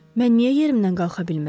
Mən niyə yerimdən qalxa bilmirəm?